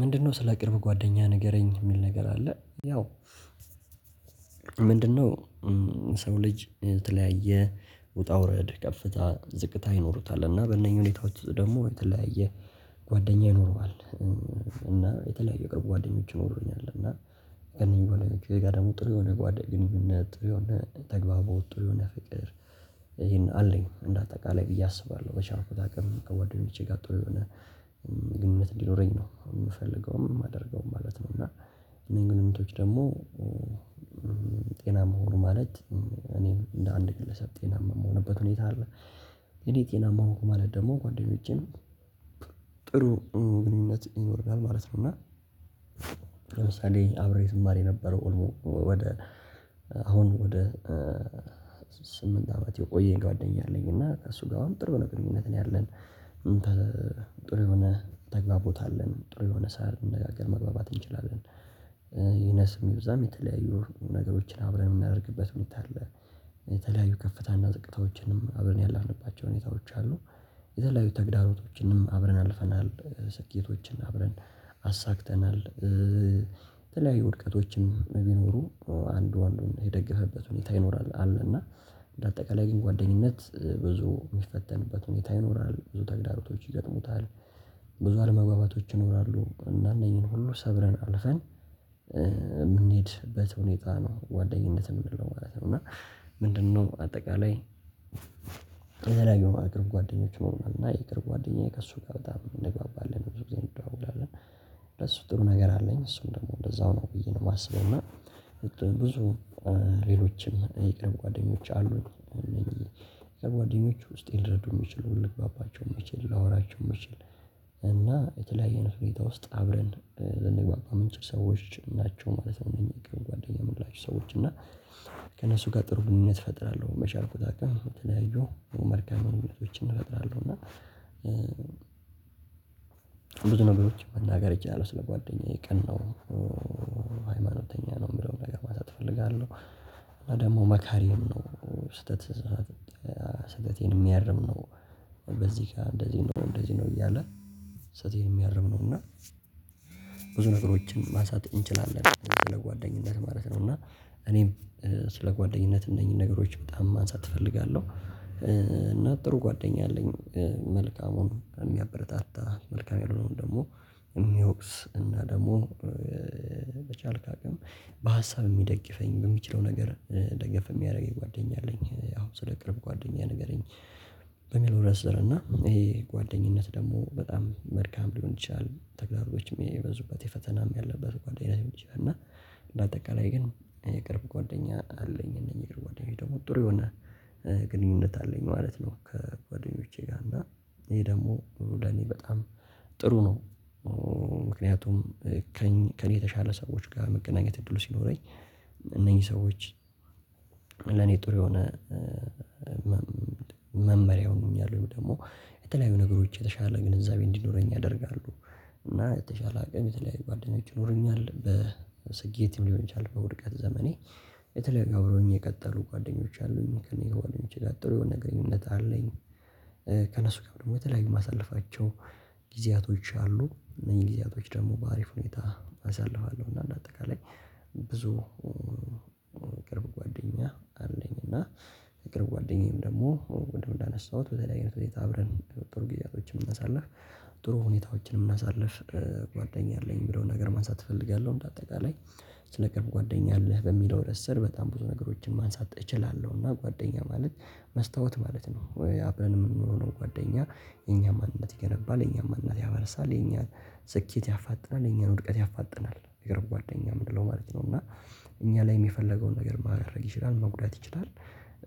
ምንድነው ስለ ቅርብ ጓደኛ ንገረኝ የሚል ነገር አለ ያው ምንድን ነው የሰው ልጅ የተለያየ ውጣውረድ ከፍታ ዝቅታ ይኖሩታል እና በነኝህ ሁኔታወች ደግሞ የተለያየ ጒደኛ ይኖረዋል እና በተለያየ ጓደኛ ይኖረኛል እና የተለያየ ጓደኛ ይኖሩኛል እንደገና ደግሞ ጥሩ የሆነ ጓደኝነት ተግባቦት አለኝ አንዳጠቃላይ ብዬ አስባለሁ በቻልኩት አቅም ከጓደኞቼ ጋር ጥሩ የሆነ ግንኙነት እንዲኖረኝ ነው የምፈልገውም የማደርገውም እኒህም ግኝቶም ደግሞ ጤና መሆን ማለት እኔም እንደ አንድ ግለሰብ ጤና የምሆንበት ሁኔታ አለ የኔ ጤናማ ማለት ደግሞ ጓደኞቼን ጥሩ ግንኙነት ይኖረናል ማለት ነው እና ለምሳሌ አብሬ ትማር የነበረው ወደ አሁን ወደ ስምንት አመት የቆየኝ ጓደኛ አለኝ እና ከእሱ ጋር አሁን ጥሩ ነገር ግንኙነት ነው ያለን ጥሩ የሆነ ተጋቦት አለን ጥሩ የሆነ ሳር መግባባት እንችላለን ይነስም ይብዛም የተለያዩ ነገሮችን አብረን የምናደርግበት ሁኔታ አለ የተለያዩ ከፍታና ዝቅታዎችንም አብረን ያለፍንባቸው ሁኔታዎች አሉ የተለያዩ ተግዳሮቶችንም አብረን አልፈናል ስኬቶችን አብረን አሳክተናል የተለያዩ ውድቀቶችም ቢኖሩ አንዱ አንዱን የደገፈበት ሁኔታ ይኖራል አለ እና እንደ አጠቃላይ ግን ጓደኝነት ብዙ የሚፈተንበት ሁኔታ ይኖራል ብዙ ተግዳሮቶች ይገጥሙታል ብዙ አለመግባባቶች ይኖራሉ እና አነኝሁን ሁሉ ሰብረን አልፈን የምንሄድበት ሁነታ ነው ጉአደኝነት እምንለው ማለት ነው እና ምንድነው አጠቃላይ የተለያዩ አገር ጓደኞች ይኖረናል እና የቅርብ ጓደኛዬ ከእሱ ጋር በጣም እንግባባለን ብዙ ጊዜ እንደዋወላለን በሱ ጥሩ ነገር አለኝ እሱም ደግሞ እንደዛው ነው ብዬ ነው የማስበው እና ብዙ ሌሎችም የቅርብ ጓደኛ አሉኝ ሜይ ቢ የቅርብ ጓደኞች ውስጤን ሊረዱ የሚችሉ ልግባናቸው የምችል ላወራቸው የምቺል እና የተለያየ ሁኔታወች ውስጥ አብረን ልንግባኝ የምንችላቸው የምንችል ሰወች ናቸው ማለት ነው የቅርብ ጉአደኞቼ የምላቸው ሰወች እና ከእነሱ ጋር ጥሩ ግንኙነት እፈጥራለሁ መቼ አልቆጣጠርም ተያይዞ መልካም እውነቶችን እፈጥራለሁ እና ብዙ ነገሮች መናገር እችላለው ስለ ጓደኛዬ ቅን ነው ሃይማኖተኛ ነው የምለውን ነገር ማንሳት እፈልጋለሁ። እና ደግሞ መካሪዬም ነው ስህተት፣ ስህተቴን የሚያርም ነው። በዚህ ጋር እንደዚህ ነው እንደዚህ ነው እያለ፣ ስህተቴን የሚያርም ነው። እና ብዙ ነገሮችን ማንሳት እንችላለን፤ ስለ ጓደኝነት ማለት ነው። እና እኔም ስለ ጓደኝነት እነኚህን ነገሮች በጣም ማንሳት እፈልጋለሁ። እና ጥሩ ጓደኛ አለኝ መልካሙን የሚያበረታ፣ መልካም ያልሆነውን ደግሞ የሚወቅስ እና ደግሞ በቻልክ አቅም በሀሳብ የሚደግፈኝ በሚችለው ነገር ደገፍ የሚያደርገኝ ጓደኛ አለኝ። ያው ስለ ቅርብ ጓደኛ ንገረኝ በሚኖረን ስር እና ይሄ ጓደኝነት ደግሞ በጣም መልካም ሊሆን ይችላል። ተግዳሮቶችም የበዙበት ፈተናም ያለበት ጓደኝነት ሊሆን ይችላል እና በአጠቃላይ ግን የቅርብ ጓደኛ አለኝ። እነኚህ የቅርብ ጓደኞች ደግሞ ጥሩ የሆነ ግንኙነት አለኝ ማለት ነው፤ ከጓደኞቼ ጋር እና ይህ ደግሞ ለእኔ በጣም ጥሩ ነው። ምክንያቱም ከእኔ የተሻለ ሰዎች ጋር መገናኘት እድሉ ሲኖረኝ እነኚህ ሰዎች ለኔ ጥሩ የሆነ መመሪያ ይሆኑኛል፤ ወይም ደግሞ የተለያዩ ነገሮች የተሻለ ግንዛቤ እንዲኖረኝ ያደርጋሉ። እና የተሻለ አቅም የተለያዩ ጓደኞች ይኖሩኛል። በስኬትም ሊሆን ይችላል በውድቀት ዘመኔ፣ የተለያዩ አብረውኝ የቀጠሉ ጓደኞች አሉኝ፤ ከእነኚህ ከጓደኞቼ ጋር ጥሩ የሆነ ግንኙነት አለኝ። ከነሱ ጋርም ደግሞ የተለያዩ የማሳልፋቸው ጊዜዎች አሉ፤ እነኚን ጊዜዎች ደግሞ በአሪፍ ሁኔታ አሳልፋለው። እና በአጠቃላይ የቅርብ ጓደኛ አለኝ እና የቅርብ ጓደኛዬም ደግሞ ቅድም እንዳነሳሁት፣ በተለያየ አይነት ሁኔታ አብረን ጥሩ ግዜዎችን ምናሳልፍ ጥሩ ሁኔታዎችን ምናሳልፍ ጓደኛ አለኝ የሚለውን ነገር ማንሳት እፈልጋለሁ። እንደ አጠቃላይ ስለ "ቅርብ ጓደኛ አለህ" በሚለው ርዕስ ስር በጣም ብዙ ነገሮችን ማንሳት እችላለሁ። እና ጓደኛ ማለት መስታወት ማለት ነው። ወይ አብረን የምንኖረው ነው ጓደኛ፤ የኛን ማንነት ይገነባል የኛን ማንነት ያፈርሳል የኛን ስኬት ያፋጥናል የኛን ውድቀት ያፋጥናል የቅርብ ጓደኛ የምለው ማለት ነው። እና እኛ ላይም የፈለገውን ነገር ማድረግ ይችላል፣ መጉዳት ይችላል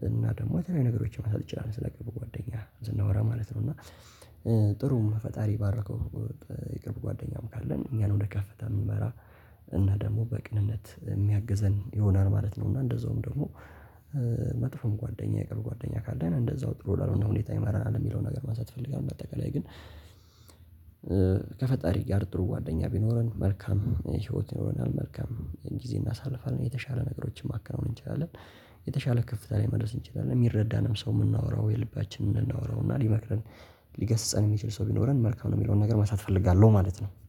እና ደግሞ የተለያዩ ነገሮችን ማድረግ ይችላል፤ ስለ ቅርብ ጓደኛ ስናወራ ማለት ነው። እና ጥሩ ፈጣሪ የባረከው የቅርብ ጓደኛም ካለን እኛን ወደ ከፍታ የሚመራ፣ እና ደግሞ በቅንነት የሚያግዘን ይሆናል ማለት ነው እና እንደዛውም ደግሞ መጥፎም ጓደኛ የቅርብ ጓደኛ ካለን እንደዛው ጥሩ ላልሆነ ሁኔታ ይመራናል የሚለውን ነገር ማንሳት እፈልጋለሁ። እንደ አጠቃላይ ግን ከፈጣሪ ጋር ጥሩ ጓደኛ ቢኖረን፣ መልካም ህይወት ይኖረናል፤ መልካም ጊዜ እናሳልፋለን የተሻለ ነገሮችን ማከናወን እንችላለን። የተሻለ ከፍታ ላይ መድረስ እንችላለን። የሚረዳንም ሰው የምናወራው የልባችንን ልናወራው እና ሊመክረን ሊገስፀን የሚችል ሰው ቢኖረን መልካም ነው የሚለውን ነገር ማንሳት እፈልጋለው ማለት ነው።